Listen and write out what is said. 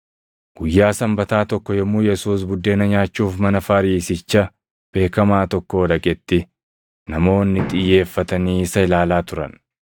Guyyaa Sanbataa tokko yommuu Yesuus buddeena nyaachuuf mana Fariisicha beekamaa tokkoo dhaqetti, namoonni xiyyeeffatanii isa ilaalaa turan.